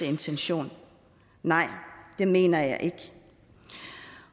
intention nej det mener jeg ikke